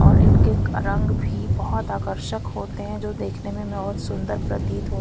और उनके रंग भी बहुत आकर्षक होते हैं जो देखने बहुत सुंदर प्रतीत होते--